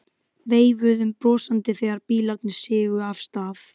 Veifuðum brosandi þegar bílarnir sigu af stað.